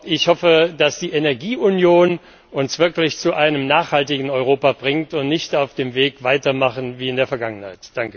Ich hoffe also, dass die Energieunion uns wirklich zu einem nachhaltigen Europa bringt, und dass wir nicht auf dem Weg weitermachen wie in der Vergangenheit.